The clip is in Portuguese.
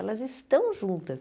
Elas estão juntas.